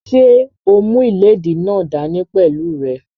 Ṣé o mú ìléèdí náà dá ní pẹ̀lú rẹ?